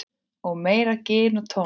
Og meira gin og tónik.